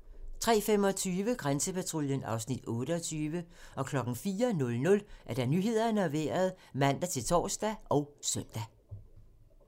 03:25: Grænsepatruljen (Afs. 26) 04:00: Nyhederne og Vejret (man-tor og søn)